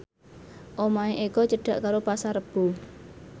omahe Eko cedhak karo Pasar Rebo